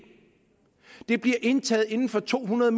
det bliver indtaget inden for to hundrede